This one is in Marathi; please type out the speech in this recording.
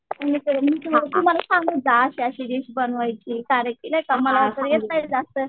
मग तू मला सांगत जा अशी अशी डिश बनवायची मला तर येत नाही जास्त.